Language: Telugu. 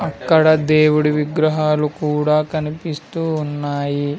అక్కడ దేవుడి విగ్రహాలు కూడా కనిపిస్తూ ఉన్నాయి.